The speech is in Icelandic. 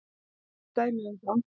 Það eru dæmi um það.